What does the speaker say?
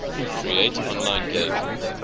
create online game